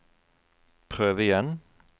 prøv igjen